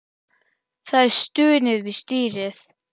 Það er stunið við stýrið.